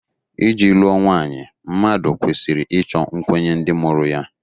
Iji lụọ nwanyị, mmadụ kwesịrị ịchọ nkwenye ndị mụrụ ya